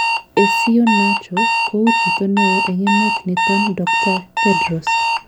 Esio Nacho kouu chito neeo en emet niton Dr Thedros